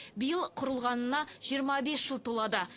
биыл құрылғанына жиырма бес жыл толады